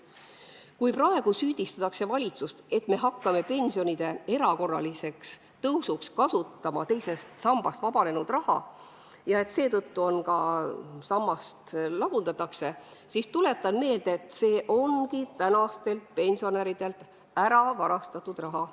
Kui praegu süüdistatakse valitsust, et me hakkame pensionide erakorraliseks tõusuks kasutama teisest sambast vabanenud raha ja et seetõttu sammast lagundatakse, siis tuletan meelde, et see on tänastelt pensionäridelt varastatud raha.